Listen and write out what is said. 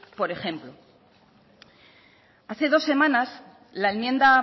por ejemplo hace dos semanas la enmienda